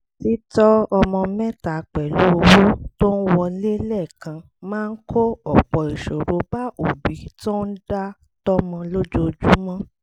títọ́ ọmọ mẹ́ta pẹ̀lú owó tó ń wọlé lẹ́ẹ̀kan máa kó ọ̀pọ̀ ìṣòro bá òbí tó ń dá tọ́mọ lójoojúmọ́